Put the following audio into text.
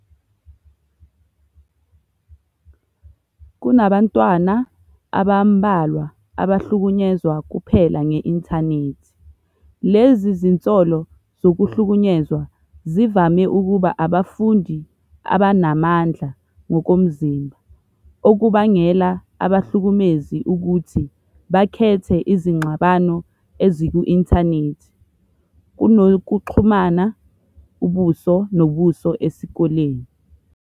Kunabantwana abambalwa abahlukunyezwa kuphela nge-Intanethi, lezi zinsolo zokuhlukunyezwa zivame ukuba abafundi abanamandla ngokomzimba, okubangela abahlukumezi ukuthi bakhethe izingxabano eziku-inthanethi kunokuxhumana ubuso nobuso esikoleni.